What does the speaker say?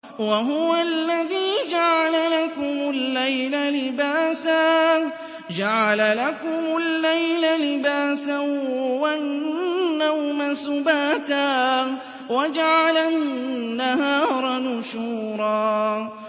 وَهُوَ الَّذِي جَعَلَ لَكُمُ اللَّيْلَ لِبَاسًا وَالنَّوْمَ سُبَاتًا وَجَعَلَ النَّهَارَ نُشُورًا